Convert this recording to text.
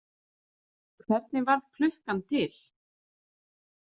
Hvernig varð klukkan til?